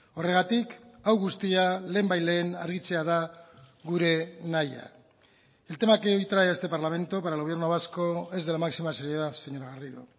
horregatik hau guztia lehenbailehen argitzea da gure nahia el tema que hoy trae a este parlamento para el gobierno vasco es de la máxima seriedad señora garrido